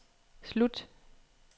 slut